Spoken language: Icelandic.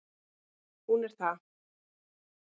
Hún er það